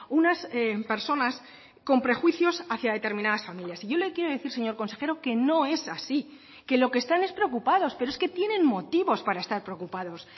unas personas con prejuicios hacia determinadas familias y yo le quiero decir señor consejero que no es así que lo que están es preocupados pero es que tienen motivos para estar preocupados